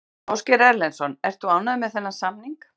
Ásgeir Erlendsson: Ert þú ánægður með þennan samning?